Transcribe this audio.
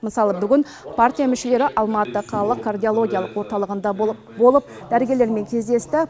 мысалы бүгін партия мүшелері алматы қалалық кардиологиялық орталығында болып дәрігерлермен кездесті